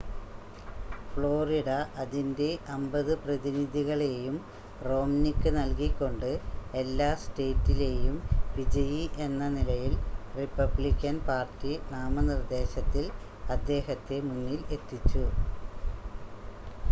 Florida അതിൻ്റെ അമ്പത് പ്രതിനിധികളെയും റോംനിക്ക് നൽകിക്കൊണ്ട് എല്ലാ സ്റ്റേറ്റിലെയും വിജയി എന്ന നിലയിൽ റിപ്പബ്ലിക്കൻ പാർട്ടി നാമനിർദ്ദേശത്തിൽ അദ്ദേഹത്തെ മുന്നിൽ എത്തിച്ചു